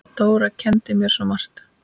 Dóra kenndi mér svo margt.